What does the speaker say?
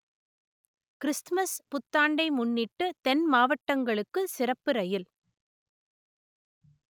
Christmas புத்தாண்டை முன்னிட்டு தென் மாவட்டங்களுக்கு சிறப்பு ரயில்